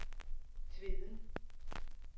Tveden